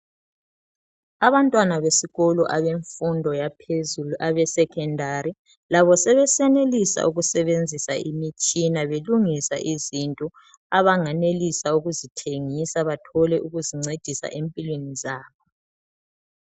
Abantwana besikolo abemfundo yaphezulu abesekhondari labo sebesenelisa ukusebenzisa imitshina belungisa izinto abanganelisa ukuzithengisa bathole ukuzincedisa empilweni zabo